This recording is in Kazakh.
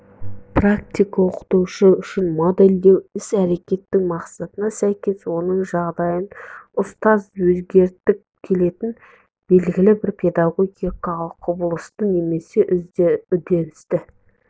практик оқытушы үшін модельдеу іс-әрекетінің мақсатына сәйкес оның жағдайын ұтаз өзгерткіі келетін белгілі бір педагогикалық құбылыты немесе үдерісті